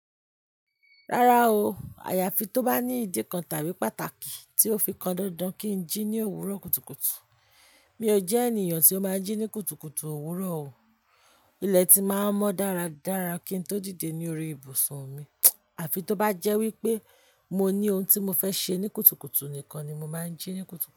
Rárá o, àyàfi tó bá ní ìdí kan tàbí pàtàkì tí ó fi kan dandan kí n jí ní òwúrọ̀ kùtùkùtù. Mi ò jẹ́ ènìyàn tí ó máa ń jí ní kùtùkùtù òwúrọ̀ o. Ilẹ̀ ti máa ń mọ́ dáradára kí n tó dìde ní orí ibùsùn mi. Àfi tó bá jẹ́ wípé mo ní ohun tí mo fẹ́ ṣe ní kùtùkùtù nìkan ni mo máa ń jí ní kùtùkùtù.